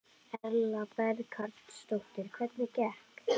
Berghildur Erla Bernharðsdóttir: Hvernig gekk?